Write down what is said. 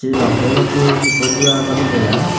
e nokfai machu Seko du azam taiya.